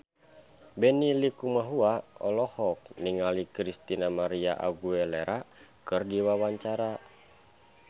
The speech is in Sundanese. Benny Likumahua olohok ningali Christina María Aguilera keur diwawancara